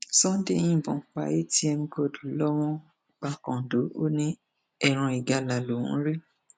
sunday yìnbọn pa atm god lowón pakàndó ò ní ẹran ìgalà lòún rí